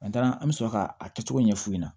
an bɛ sɔrɔ ka a kɛcogo ɲɛfu ɲɛna